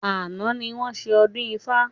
Àná ni wọn ṣe ọdún ifá